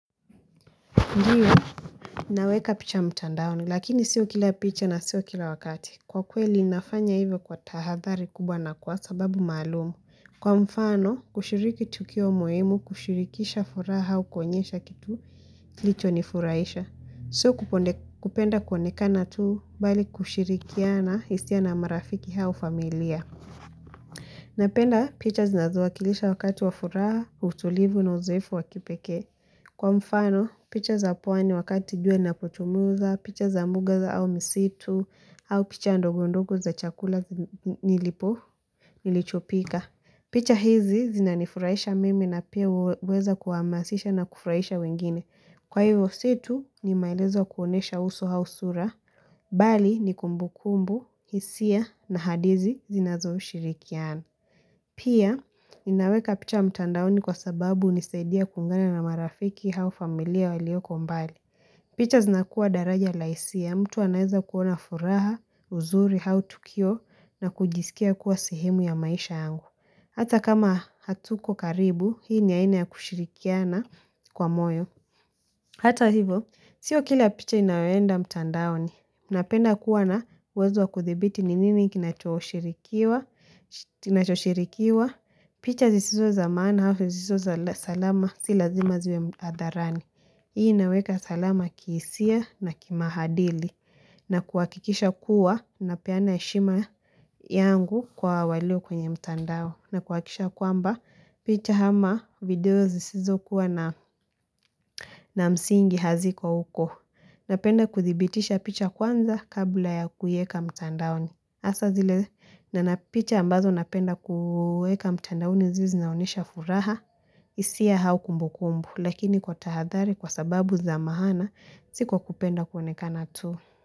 Ndiyo, naweka picha mtandaoni, lakini sio kila picha na sio kila wakati. Kwa kweli, nafanya hivyo kwa tahadhari kubwa na kwa sababu maalum. Kwa mfano, kushiriki tukio muhimu, kushirikisha furaha au kuonyesha kitu kilichonifurahisha. Sio kupenda kuonekana tu, bali kushirikiana, hisia na marafiki au familia. Napenda picha zinazowakilisha wakati wa furaha, utulivu na uzoefu wa kipekee. Kwa mfano, picha za pwani wakati jua linapochomoza, picha za mbuga au misitu, au picha ndogo ndogo za chakula nilichopika. Picha hizi zinanifurahisha mimi na pia huweza kuhamasisha na kufurahisha wengine. Kwa hivyo si tu ni maelezo kuonyesha uso au sura, bali ni kumbukumbu, hisia na hadithi zinazoshirikiana. Pia, ninaweka picha mtandaoni kwa sababu hunisaidia kuungana na marafiki au familia walioko mbali. Picha zinakuwa daraja la hisia, mtu anaweza kuona furaha, uzuri, au tukio na kujisikia kuwa sehemu ya maisha yangu. Hata kama hatuko karibu, hii ni aina ya kushirikiana kwa moyo. Hata hivo, sio kila picha inayoenda mtandaoni. Napenda kuwa na uwezo wa kuthibiti ni nini kinachoshirikiwa picha zisizo za maana au zisizo za salama si lazima ziwe hadharani. Hii inaweka salama kihisia na kimaadili na kuhakikisha kuwa napeana heshima yangu kwa walio kwenye mtandao na kuhakikisha kwamba picha ama video zisizokuwa na msingi haziko huko. Napenda kuthibitisha picha kwanza kabla ya kuiweka mtandaoni. Hasa zile picha ambazo napenda kuweka mtandaoni zile zinaonyesha furaha, hisia au kumbukumbu. Lakini kwa tahadhari kwa sababu za maana si kwa kupenda kuonekana tu.